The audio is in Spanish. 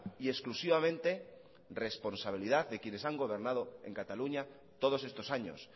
y exclusivamente responsabilidad de quienes han gobernado en cataluña todos estos años